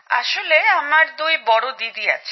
আসলে আমার দুই বড় দিদি আছে